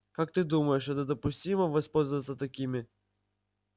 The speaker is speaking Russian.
как ты думаешь это допустимо воспользоваться такими